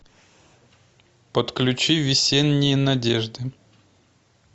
подключи весенние надежды